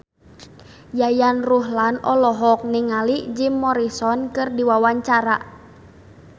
Yayan Ruhlan olohok ningali Jim Morrison keur diwawancara